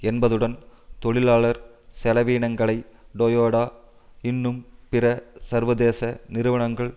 என்பதுடன் தொழிலாளர் செலவினங்களை டோயோடா இன்னும் பிற சர்வதேச நிறுவனங்கள்